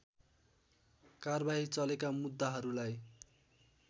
कारबाही चलेका मुद्दाहरूलाई